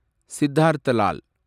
Siddhartha Lal